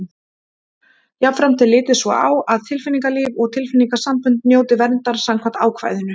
Jafnframt er litið svo á að tilfinningalíf og tilfinningasambönd njóti verndar samkvæmt ákvæðinu.